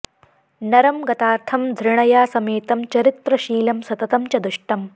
नरं गतार्थं धृणया समेतं चरित्रशीलं सततं च दुष्टम्